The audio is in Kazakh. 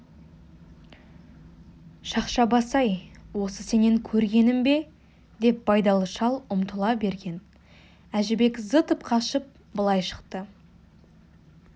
шақша бас-ай осы сенен көргенім бе деп байдалы шал ұмтыла берген әжібек зытып қашып былай шықты